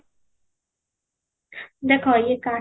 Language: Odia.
ଦେଖ ୟେ କାଠ